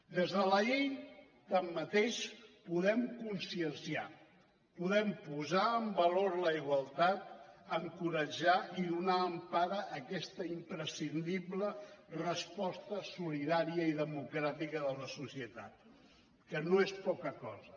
des de la llei tanmateix podem conscienciar podem posar en valor la igualtat encoratjar i donar empara a aquesta imprescindible resposta solidària i democràtica de la societat que no és poca cosa